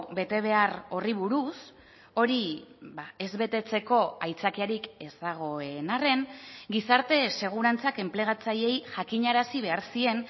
betebehar horri buruz hori ez betetzeko aitzakiarik ez dagoen arren gizarte segurantzak enplegatzaileei jakinarazi behar zien